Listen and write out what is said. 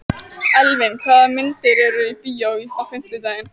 Elvin, hvaða myndir eru í bíó á fimmtudaginn?